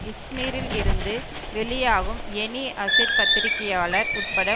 இஸ்மீரில் இருந்து வெளியாகும் Yeni Asir பத்திரிகையாளர் உட்பட